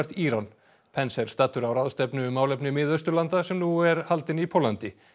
Íran pence er staddur á ráðstefnu um málefni Mið Austurlanda sem nú er haldin í Póllandi